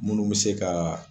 Minnu bɛ se ka